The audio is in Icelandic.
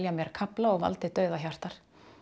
mér kafla og valdi dauða Hjartar